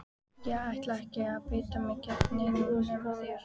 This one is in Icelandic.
Ég ætla ekki að beita mér gegn neinum nema þér!